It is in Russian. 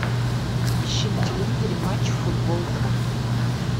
ищи на телевизоре матч футбол два